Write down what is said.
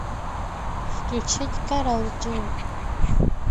включить кэрол джи